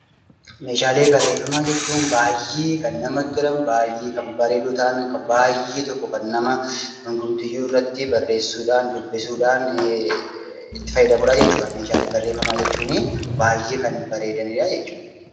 Meeshaalee barreeffamaa jechuun baay'ee kan namatti tolan, baay'ee bareedoo ta'an, baay'ee tokko kan nama hundumtiyyuu irratti barreessuu dhaan, dubbisuu dhaan itti fayyadamu jechuu dha. Meeshaalee barreeffamaa jechuun baay'ee kan bareedani dha jechuu dha.